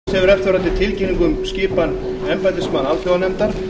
borist hefur eftirfarandi tilkynning um skipan embættismanna alþjóðanefndar